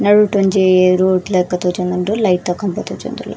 ನಡುಟ್ ಒಂಜಿ ರೂಟ್ ಲಕ ತೋಜೊಂದುಂಡು ಲೈಟ್ ದ ಕಂಬ ತೋಜೊಂದುಂಡು.